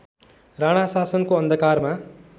राणा शासनको अन्धकारमा